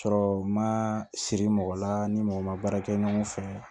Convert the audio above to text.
Sɔrɔ ma siri mɔgɔ la ni mɔgɔ ma baara kɛ ɲɔgɔn fɛ